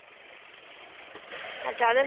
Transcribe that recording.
আর যাদের